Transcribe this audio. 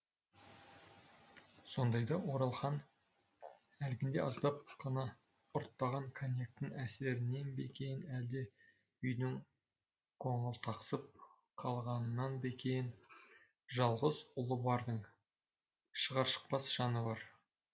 сондайда оралхан әлгінде аздап қана ұрттаған коньяктің әсерінен бе екен әлде үйдің қоңылтақсып қалғанынан ба екен жалғыз ұлы бардың шығар шықпас жаны бар